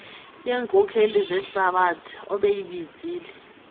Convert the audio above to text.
yeenkokeli zehlabathi obeyibizile